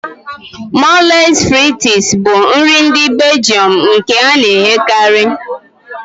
Mòles fritịs s bụ nri ndị Beljọm nke a na-eghekarị